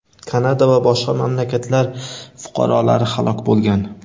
Kanada va boshqa mamlakatlar fuqarolari halok bo‘lgan.